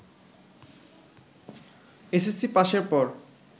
SSC পাসের পর